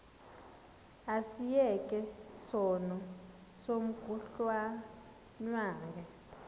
asiyeke sono smgohlwaywanga